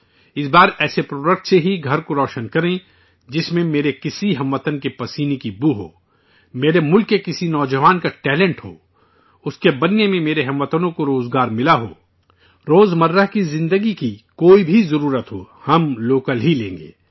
اس بار ایسے پروڈکٹ سے ہی گھر کو روشن کریں جس میں میرے کسی ہم وطن کے پسینے کی خوشبو ہو، میرے ملک کے کسی نوجوان کا ٹیلنٹ ہو، اس کے بننے میں میرے ہم وطنوں کو روزگار ملا ہو، روزمرہ کی زندگی کی کوئی بھی ضرورت ہو ہم لوکل ہی لیں گے